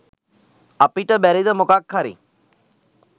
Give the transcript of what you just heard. අපිට බැරිද මොකක් හරි